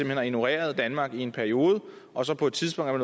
hen har ignoreret danmark i en periode og på et tidspunkt er